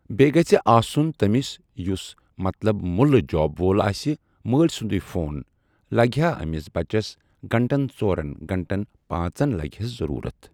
بیٚیہِ گژھِ آسُن تٔمِس یُس ملطب مُلہٕ جاب وول آسہِ مٲلۍ سُنٛدُے فون لگہِ ہا أمِس بچس گنٛٹن ژورن گںٛٹن پانٛژن لگہِ ہس ضروٗرت۔